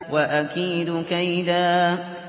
وَأَكِيدُ كَيْدًا